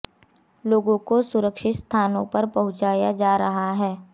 लोगों को सुरक्षित स्थानों पर पहुंचाया जा रहा है